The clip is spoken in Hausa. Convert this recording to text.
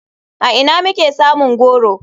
A ina muke samun goro?